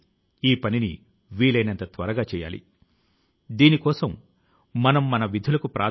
ఈ రోజు నా కెరీర్ లో కష్ట సాధ్యమైన మైలురాళ్లను చేరుకున్నాను